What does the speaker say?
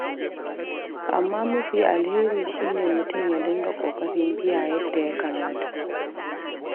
Amma mafi alheri shi ne mutum ya dinga ƙoƙarin biya yadda ya kamata.